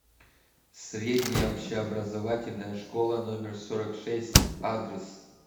средняя общеобразовательная школа номер сорок шесть адрес